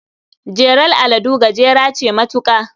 Jelar aladu gajera ce matuka.